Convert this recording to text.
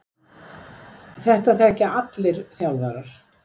Þetta þekkja allir þjálfarar.